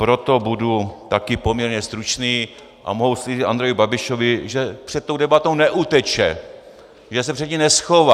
Proto budu také poměrně stručný a mohu slíbit Andreji Babišovi, že před tou debatou neuteče, že se před ní neschová.